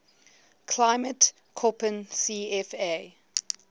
climate koppen cfa